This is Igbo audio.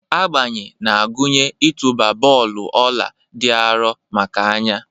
Agbanye na-agụnye ịtụba bọọlụ ọla dị arọ maka anya.